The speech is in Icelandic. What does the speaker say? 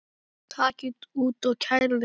Takið út og kælið.